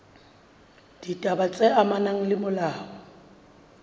ditaba tse amanang le molao